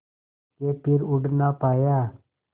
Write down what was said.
के फिर उड़ ना पाया